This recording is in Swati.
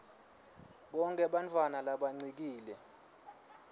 bonkhe bantfwana labancikile